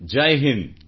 Jai Hind